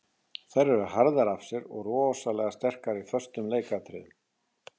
Þær eru harðar af sér og rosalega sterkar í föstum leikatriðum.